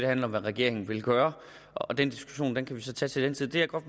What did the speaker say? handler om hvad regeringen vil gøre den diskussion kan vi så tage til den tid det jeg godt